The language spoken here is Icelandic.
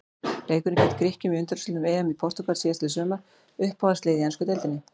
Leikurinn gegn Grikkjum í undanúrslitum EM í Portúgal síðastliðið sumar Uppáhaldslið í ensku deildinni?